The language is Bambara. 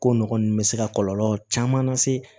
Ko nɔgɔ nunnu bɛ se ka kɔlɔlɔ caman lase